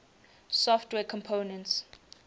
software components